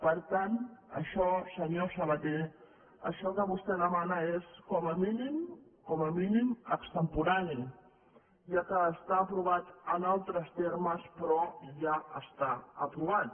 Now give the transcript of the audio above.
per tant això senyor sa·baté això que vostè demana és com a mínim com a mínim extemporani ja que està aprovat en altres termes però ja està aprovat